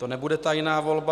To nebude tajná volba.